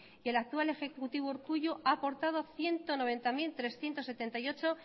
y el actual ejecutivo urkullu ha aportado ciento noventa mil trescientos setenta y ocho